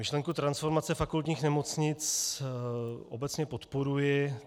Myšlenku transformace fakultních nemoc obecně podporuji.